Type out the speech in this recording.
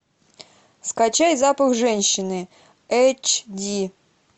скачай запах женщины эйч ди